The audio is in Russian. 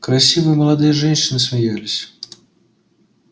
красивые молодые женщины смеялись